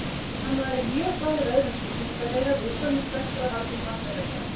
Hann væri mjög háður öðrum tilfinningalega, viðkvæmur, spenntur og haldinn vanmetakennd.